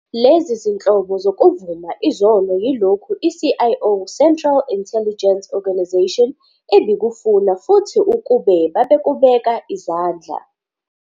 Lezi zinhlobo zokuvuma izono yilokho i-CIO, Central Intelligence Organisation, ebikufuna futhi ukube babekubeka izandla